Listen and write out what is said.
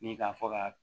Ni k'a fɔ ka